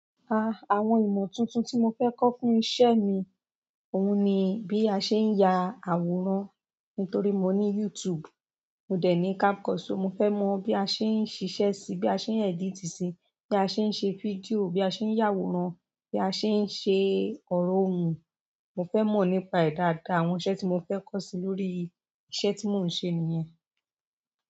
Àwọn ìmọ̀ tuntun ti mó fẹ kọ fún iṣẹ́ mí òun ní bí a ṣé ń yà àwòrán. Nítorí mo ní YouTube, mo dẹ̀ ní camcorder, so mo fẹ́ mọ bí a ṣe ń ṣi ṣẹ sí i, bí a ṣe ń edit sí i, bí a ṣe ń ṣe fídíò, bí a ṣe ń yàwòrán, bí a ṣe ń ṣe ọ̀rọ̀ òun. Mo fẹ́ mọ̀ nípa ẹ dáadáa àwọn iṣẹ́ tí mo fẹ́ kọ́ sí i lórí iṣẹ́ tí mò ń ṣe nìyẹn.